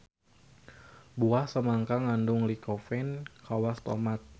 Buah samangka ngandung lycopene kawas tomat.